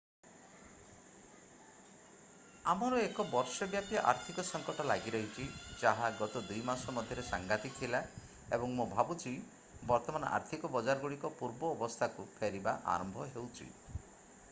ଆମର ଏକ ବର୍ଷ ବ୍ୟାପୀ ଆର୍ଥିକ ସଙ୍କଟ ଲାଗିରହିଛି ଯାହା ଗତ ଦୁଇ ମାସ ମଧ୍ୟରେ ସାଂଘାତିକ ଥିଲା ଏବଂ ମୁଁ ଭାବୁଛି ବର୍ତ୍ତମାନ ଆର୍ଥିକ ବଜାରଗୁଡ଼ିକ ପୂର୍ବ ଆବସ୍ଥାକୁ ଫେରିବା ଆରମ୍ଭ ହେଉଛି